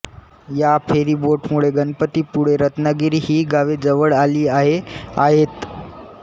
या फेरीबोटमुळे गणपतीपुळे रत्नागिरी ही गावे जवळ आली आहे आहेत